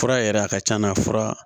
Fura yɛrɛ a ka can na fura